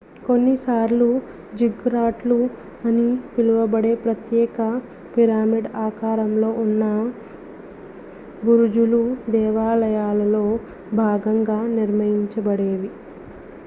కొన్నిసార్లు జిగ్గురాట్లు అని పిలువబడే ప్రత్యేక పిరమిడ్ ఆకారంలో ఉన్న బురుజులు దేవాలయాలలో భాగంగా నిర్మించబడేవి